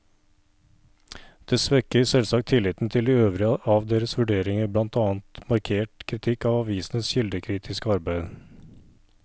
Det svekker selvsagt tilliten til de øvrige av deres vurderinger, blant annet markert kritikk av avisenes kildekritiske arbeid.